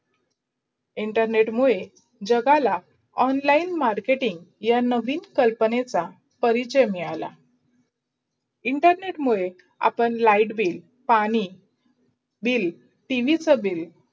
internet मुडे जगाला online marketing या नवीन कल्पनेच् परिचय मिधाळला. internet मुडे आपण लाईट बिल, पाणी बिल, टीव्ही चा बिल